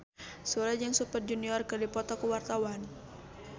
Sule jeung Super Junior keur dipoto ku wartawan